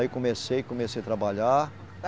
Aí comecei, comecei a trabalhar.